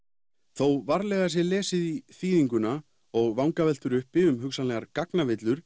þó varlega sé lesið í þýðinguna og vangaveltur uppi um hugsanlegar